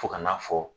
Fo ka n'a fɔ